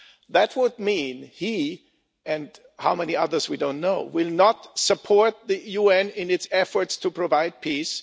That will mean that he and how many others we don't know will not support the UN in its efforts to provide peace.